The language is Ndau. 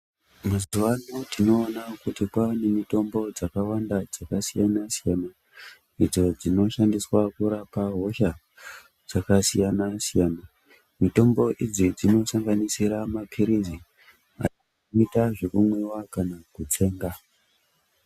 Mazuvano tinoona kuti kwava nemitombo dzakawanda dzakasiyana-siyana, idzo dzinoshandiswa kurapa hosha dzakasiyana-siyana. Mitombo idzi dzinosanganisira maphirizi ayo anoita zvekumwiwa kana kutsenga.